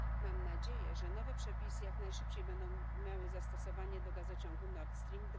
Mam nadzieję, że nowe przepisy jak najszybciej będą miały zastosowanie do gazociągu Nord Stream